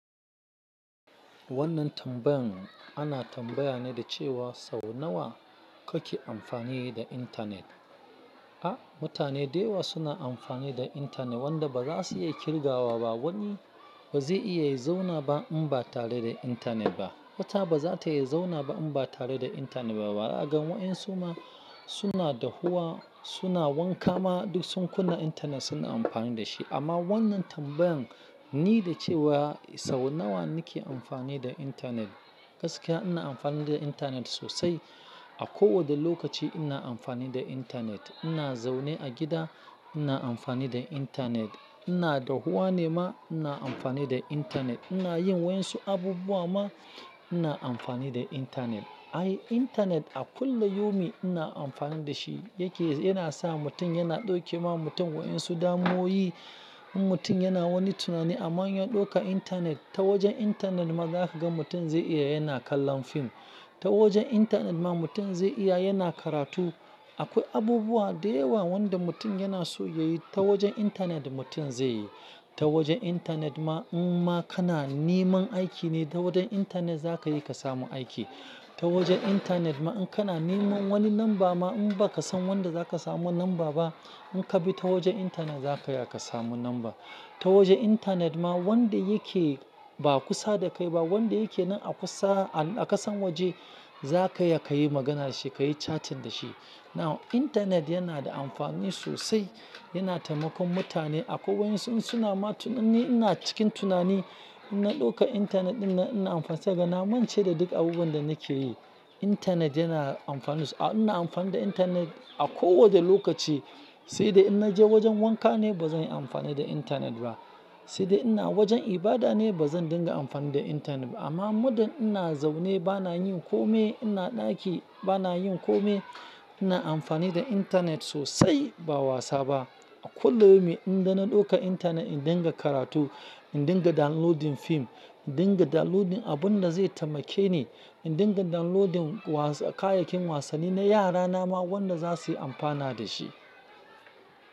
Wannan tambayan ana tambaya ne da cewa sau nawa kake amfani da internet? A mutane da yawa suna amfani da internet wanda ba za su iya kirgawa ba. Wani ba zai iya ya zauna ba in ba tare da internet ba. Wata ba za ta iya zauna ba in ba tare da internet ba. Da wa'en suma suna dahuwa suna wanka ma duk sun kunna internet suna amfani da shi. Amma wannan tambayan ni da cewa sau nawa nake amfani da internet. Gaskiya ina amfani da intanet sosai. A ko wanda lokaci ina amfani da internet. Ina zaune a gida ina amfani da intanet. Ina dahuwa ne ma ina amfani da intanet. Ina yin wa'insu abubuwa ma ina amfani da intanet. Ai internet a kullayomin ina amfani da shi yake yana sa mutum yana dauke ma mutum wadan su damu'oi. In mutum yana wani tunani amma in ya dauka internet ta wajen internet ma za ka ga mutum zai iya yana kallon fim. Ta wajen internet ma mutum zai iya yana karatu. Akwai abubuwa da yawa wanda mutum yana so ya yi ta wajen internet mutum zai yi. Ta wajen internet ma in ma kana niman aiki ne ta wajen internet za ka iya ka samu aiki. Ta wajen internet ma in kana niman wani lamba ma in ba ka san wanda za ka samu lamba ba in ka bi ta wajen internet za ka iya ka samu lamba. Ta wajen intanet ma wanda yake ba kusa da kai ba wanda yake nan a kusa a kasan waje za ka iya kayi magana da shi kayi chatting da shi. Now internet yana da amfani sosai. Yana taimakon mutane a kwai wadan su. In suna ma tunani in ina cikin tunani ina dauka internet dinnan, ina amfani sai kaga na mance da duk abubuwan da nake yi. Internet yana amfana so-- a ina amfani da internet a ko wanda lokaci. Sai dai in naje wajen wanka ne ba zan yi amfani da internet ba. Sai dai ina wajen ibada ne ba zan dinga amfani da internet ba. Amma muddan ina zaune bana yin kome ina ɗaki bana yin kome ina amfani da internet sosai ba wasa ba. A kullayomin idan ina dauka internet in dinga karatu, in dinga downloading fim, in dinga downloading abun da zai taimake ni, in dinga downloading wasa kayayyakin wasanni na yara na ma wanda za su yi amfana da shi.